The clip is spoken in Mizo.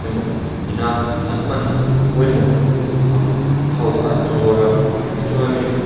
emaw ina an hman pawimawh ang ho kha an zuar a tichuanin--